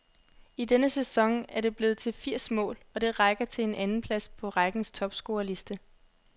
I denne sæson er det blevet til firs mål, og det rækker til en andenplads på rækkens topscorerliste.